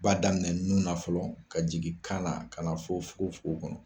Ba daminɛ nun na fɔlɔ ka jigin kan na ka na fɔ fugofugo kɔnɔ.